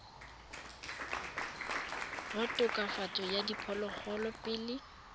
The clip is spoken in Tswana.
wa tokafatso ya diphologolo pele